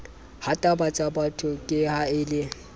hatabatsabatho ke ha a le